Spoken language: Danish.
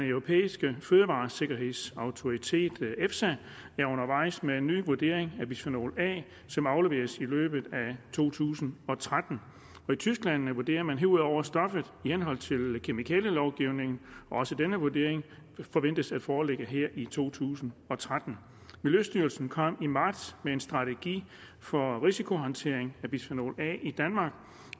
europæiske fødevaresikkerhedsautoritet efsa er undervejs med en ny vurdering af bisfenol a som afleveres i løbet af to tusind og tretten i tyskland vurderer man herudover stoffet i henhold til kemikalielovgivningen også denne vurdering forventes at foreligge her i to tusind og tretten miljøstyrelsen kom i marts med en strategi for risikohåndtering af bisfenol a i danmark